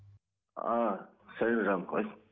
а сәлем жаным қалайсың